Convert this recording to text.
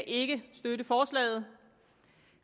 ikke kan støtte forslaget